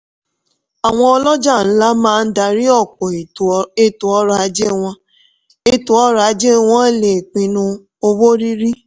àwọn ọlọ́jà ńlá máa dárí ọ̀pọ̀ ètò ọrọ̀-ajé wọ́n ètò ọrọ̀-ajé wọ́n lè pinnu owó rírí.